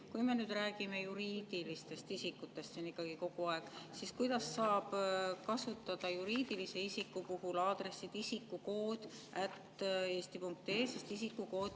Kui me räägime juriidilistest isikutest siin kogu aeg, siis kuidas saab kasutada juriidilise isiku puhul aadressi isikukood@eesti.ee?